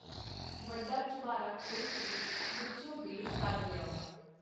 ਵੱਡਾ ਚੁਬਾਰਾ ਖੋਲ੍ਹ ਕੇ ਵਿੱਚੋਂ ਬੇਰ ਕੱਢ ਲਿਆਓ.